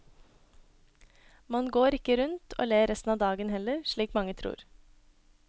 Man går ikke rundt og ler resten av dagen heller, slik mange tror.